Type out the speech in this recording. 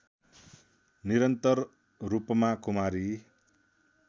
निरन्तर रूपमा कुमारी